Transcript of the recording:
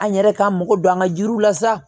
An yɛrɛ k'an mako don an ka jiriw la sa